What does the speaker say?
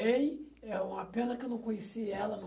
Ele, é uma pena que eu não conheci ela.